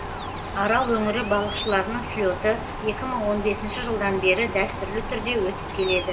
арал өңірі балықшыларының слеті екі мың он бесінші жылдан бері дәстүрлі түрде өтіп келеді